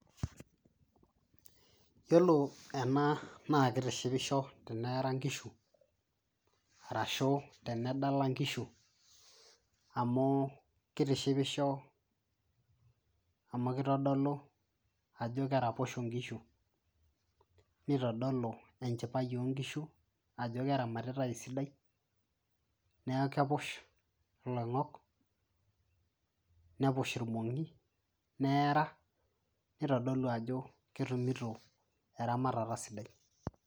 yiolo ena naa kitishipisho teneara inkishu arashu tenedala inkishu amu kitishipisho amu kitodolu ajo keraposho inkishu nitodolu enchipai onkishu ajo keramatitae esidai neeku kepush iloing'ok nepush irmong'i neara nitodolu ajo ketumito eramatata sidai.